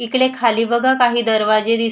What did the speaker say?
इकडे खाली बघा काही दरवाजे दिसत--